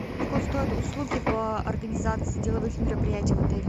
сколько стоят услуги по организации деловых мероприятий в отеле